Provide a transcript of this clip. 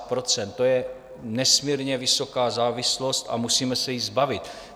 To je nesmírně vysoká závislost a musíme se jí zbavit.